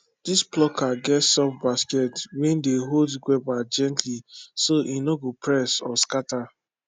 this plucker get soft basket wey dey hold guava gently so e no go press or scatter